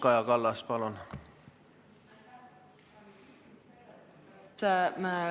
Kaja Kallas, palun!